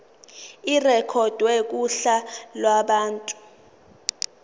irekhodwe kuhla lwabantu